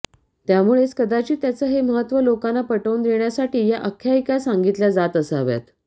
त्यामुळेच कदाचित त्याचं हे महत्त्व लोकांना पटवून देण्यासाठी या आख्यायिका सांगितल्या जात असाव्यात